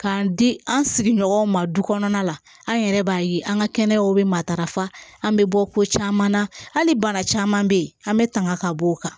K'an di an sigiɲɔgɔnw ma du kɔnɔna la an yɛrɛ b'a ye an ka kɛnɛyaw bɛ matarafa an bɛ bɔ ko caman na hali bana caman bɛ yen an bɛ tanga ka bɔ o kan